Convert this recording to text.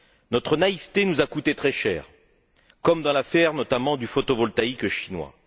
Notre naïveté nous a coûté très cher, comme dans l'affaire, notamment, du photovoltaïque chinois.